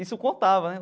Isso contava, né?